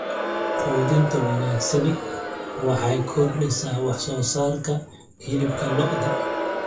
Quudinta wanaagsani waxay kordhisaa wax soo saarka hilibka lo'da.